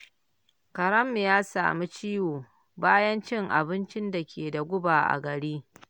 Karenmu ya sami ciwo bayan cin abinci da ke da guba a gari.